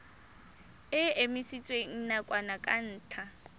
e emisitswe nakwana ka ntlha